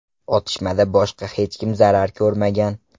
Otishmada boshqa hech kim zarar ko‘rmagan.